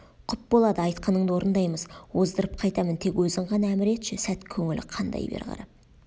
құп болады айтқаныңды орындаймыз оздырып қайтамын тек өзің ғана әмір етші сәт көңілі қандай бер қарап